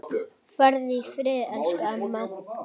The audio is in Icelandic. Farðu í friði, elsku amma.